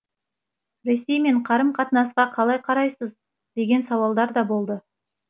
ресеймен қарым қатынасқа қалай қарайсыз деген сауалдар да болды